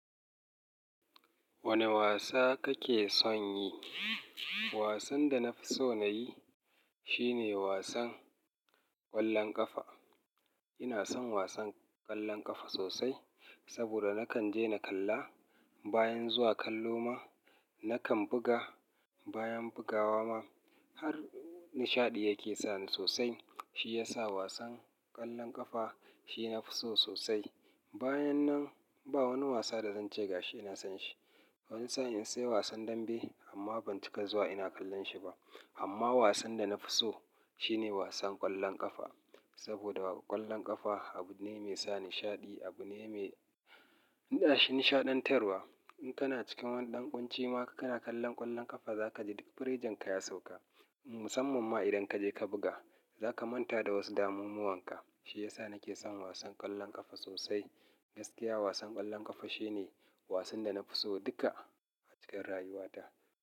Wane wasa kake son yi? Wasan da na fi so na yi shine wasan ƙwallon ƙafa. Ina son wasan ƙwallon ƙafa sosai saboda nakan je na kalla. Bayan zuwa kallo ma nakan buga. Bayan bugawa ma har nishaɗi yake sani sosai. Shi ya sa wasan ƙwallon ƙafa shi nafi so sosai. Bayan nan ba wani wasa da zan ce gashi ina son shi. Wani sa'in sai wasan dambe amma ban cika zuwa ina kallon shi ba. Amma wasan da na fi so shi ne wasan ƙwallon ƙafa. Saboda ƙwallon ƙafa abu ne mai sa nishaɗi, abu ne mai nishaɗantarwa. In kana cikin wani ɗan ƙunci ma ka kana kallon ƙwallon ƙafa, za ka ji duk firejan ka ya sauka. Musamman ma idan kaje ka buga, za ka manta da wasu damumuwan ka. Shi ya sa nake son wasan ƙwallon ƙafa sosai. Gaskiya wasan ƙwallon ƙafa shi ne wasan da na fi so duka a cikin rayuwata.